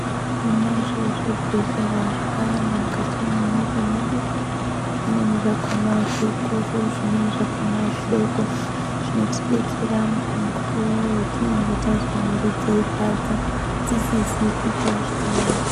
Tinazvo zvibhedhlera zvakawanda mukati mwenyika mwedu. Zvimweni zvakona zvikuru zvimweni zvakona zvidoko. Zvinotodetsera mukuwo wetinenge tazwa mwiiri dzeirwadza, dzisizi kuita zvakanaka.